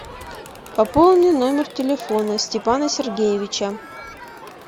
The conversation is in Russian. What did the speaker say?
пополни номер телефона степана сергеевича